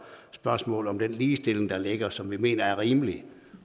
spørgsmålet om den ligestilling der ligger og som vi mener er rimelig